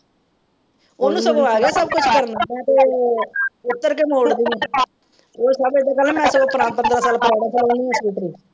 ਉਹਨੂੰ ਸਗੋਂ ਹੈਗਾ . ਉੱਤਰ ਕੇ ਮੋੜਦੀ ਏ। .